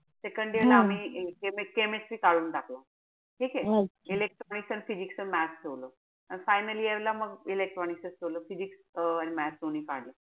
Second year ला आम्ही chemistry काढून टाकलं. ठीके? electronics अन physics अन math ठेवलं. Finally यायला मग electronics च ठेवलं. physics अं आणि math दोनी काढून टाकलं.